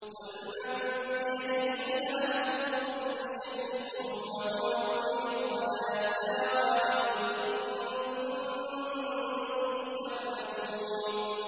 قُلْ مَن بِيَدِهِ مَلَكُوتُ كُلِّ شَيْءٍ وَهُوَ يُجِيرُ وَلَا يُجَارُ عَلَيْهِ إِن كُنتُمْ تَعْلَمُونَ